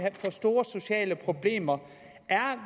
få store sociale problemer er